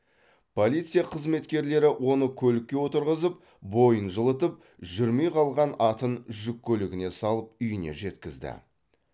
полиция қызметкерлері оны көлікке отырғызып бойын жылытып жүрмей қалған атын жүк көлігіне салып үйіне жеткізді